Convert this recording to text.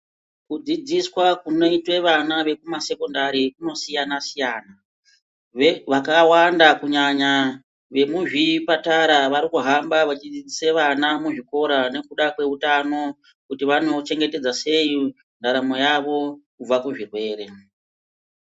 Kudzidziswa kunoita vana vekuma sekondari kunosiyana-siyana, vakawanda kunyanyq vemuzvipatara vari kuhamba vechidzidzisa vana muzvikora nekuda kweutano kuti vanouchengetedza sei ndaramo yavo kubva kuzvirwere.